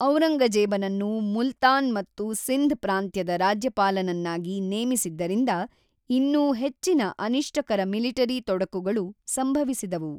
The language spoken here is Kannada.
ಔರಂಗಜೇಬನನ್ನು ಮುಲ್ತಾನ್ ಮತ್ತು ಸಿಂಧ್ ಪ್ರಾಂತ್ಯದ ರಾಜ್ಯಪಾಲನನ್ನಾಗಿ ನೇಮಿಸಿದ್ದರಿಂದ ಇನ್ನೂ ಹೆಚ್ಚಿನ ಅನಿಷ್ಟಕರ ಮಿಲಿಟರಿ ತೊಡಕುಗಳು ಸಂಭವಿಸಿದವು.